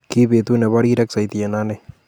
Ki betut nebo rirek soiti en ane